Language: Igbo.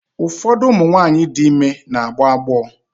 Ụfọdụ ụmụ nwaanyị dị ime na-agbọ agbọ.